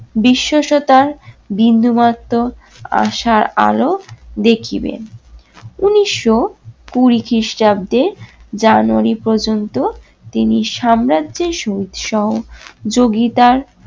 বিশ্বস্বতার বিন্দুমাত্র আশার আলো দেখিবেন। উনিশশো কুড়ি খিষ্টাব্দের জানুয়ারী পর্যন্ত তিনি সাম্রাজ্যের সু সহযোগিতার